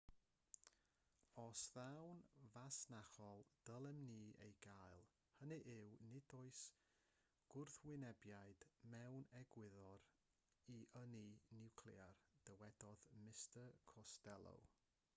os daw'n fasnachol dylem ni ei gael hynny yw nid oes gwrthwynebiad mewn egwyddor i ynni niwclear dywedodd mr costello